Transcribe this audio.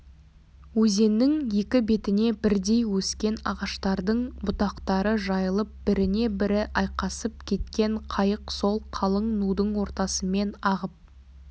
өзеннің екі бетіне бірдей өскен ағаштардың бұтақтары жайылып біріне бірі айқасып кеткен қайық сол қалың нудың ортасымен ағып